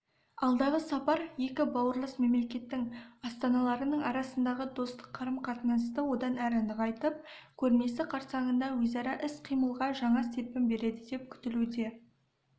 алдағы сапар екі бауырлас мемлекеттің астаналарының арасындағы достық қарым-қатынасты одан әрі нығайтып көрмесі қарсаңында өзара іс-қимылға жаңа серпін береді деп күтілуде